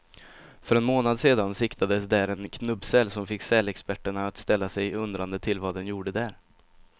För en månad sedan siktades där en knubbsäl, som fick sälexperterna att ställa sig undrande till vad den gjorde där.